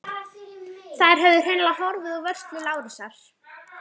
Þær höfðu hreinlega horfið úr vörslu Lárusar.